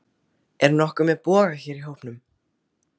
Er nokkur með boga hér í hópnum?